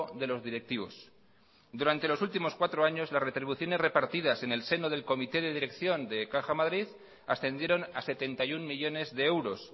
de los directivos durante los últimos cuatro años las retribuciones repartidas en el seno del comité de dirección de caja madrid ascendieron a setenta y uno millónes de euros